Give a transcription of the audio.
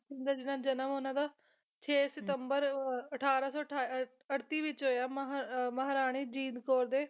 ਦਾ ਜਨਮ ਉਹਨਾਂ ਦਾ ਛੇ ਸਤੰਬਰ ਅਹ ਅਠਾਰਾਂ ਸੌ ਅਠੱ ਅਠੱਤੀ ਵਿੱਚ ਹੋਇਆ ਮਹਾ ਆਹ ਮਹਾਰਾਣੀ ਜਿੰਦ ਕੌਰ ਦੇ